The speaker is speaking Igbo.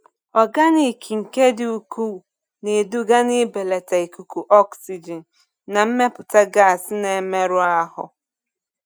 Ọganiki nke dị ukwuu na-eduga n'ibelata ikuku oxygen na mmepụta gas na-emerụ ahụ.